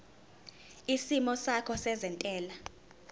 isimo sakho sezentela